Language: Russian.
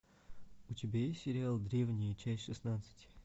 у тебя есть сериал древние часть шестнадцать